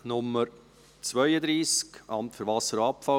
Wir kommen zum Traktandum 32, «Amt für Wasser und Abfall;